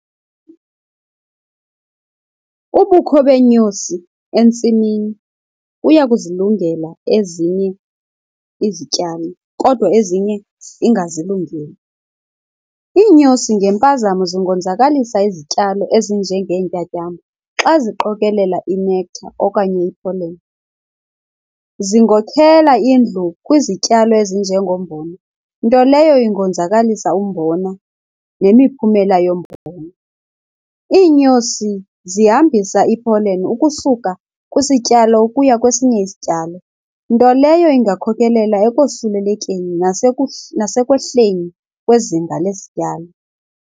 Ubukho beenyosi entsimini buyazilungela ezinye izityalo kodwa ezinye ingazilungeli. Iinyosi ngempazamo zingonzakalisa izityalo ezinjengeentyatyambo xa ziqokelela inektha okanye ipholeni. Zingokhela indlu kwizityalo ezinje ngombona, nto leyo ingonzakalisa umbona nemiphumela yombona. Iinyosi zihambisa i-pollen ukusuka kwisityalo ukuya kwesinye isityalo, nto leyo ingakhokhelela ekosulelekeni nasekwehleni kwezinga lesityalo.